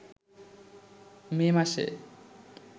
মে মাসে